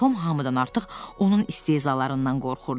Tom hamıdan artıq onun istehzalarından qorxurdu.